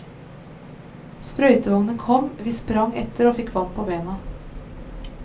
Sprøytevognen kom, vi sprang etter og fikk vann på bena.